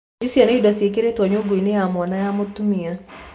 IUC nĩ indo cĩĩkĩrĩto nyũngũinĩ ya mwana ya mũtumia.